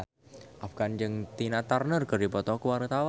Afgan jeung Tina Turner keur dipoto ku wartawan